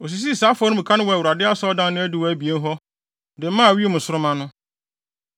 Osisii saa afɔremuka no wɔ Awurade Asɔredan no adiwo abien hɔ, de maa wim nsoromma no.